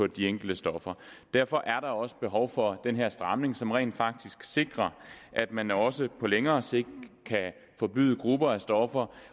de enkelte stoffer derfor er der også behov for den her stramning som rent faktisk sikrer at man også på længere sigt kan forbyde grupper af stoffer